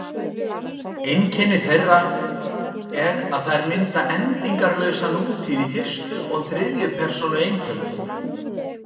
Einkenni þeirra er að þær mynda endingarlausa nútíð í fyrstu og þriðju persónu eintölu.